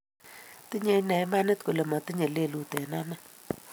Tinye inee imanit kole matinye lelut eng anee